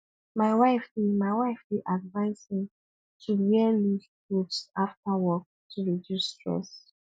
my wife dey my wife dey advise me to wear loose clothes after work to reduce stress